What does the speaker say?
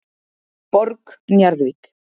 Borg Njarðvík